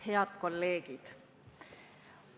Head kolleegid!